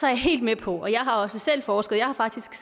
er helt med på og jeg har også selv forsket jeg har faktisk